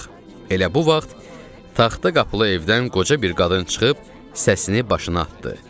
Elə bu vaxt taxta qapılı evdən qoca bir qadın çıxıb səsini başına atdı.